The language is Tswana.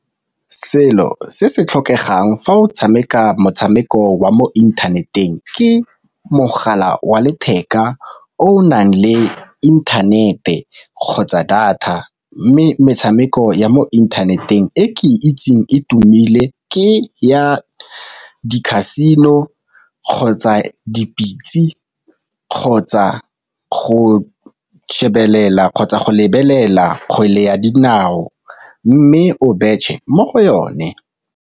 Selo se se tlhokegang fa o tshameka motshameko wa mo inthaneteng ke mogala wa letheka o nang le inthanete kgotsa data. Mme metshameko ya mo inthaneteng e ke itseng e tumile ke ya di-casino, kgotsa dipitse kgotsa go shebelela kgotsa go lebelela kgwele ya dinao mme o betšhe mo go yone.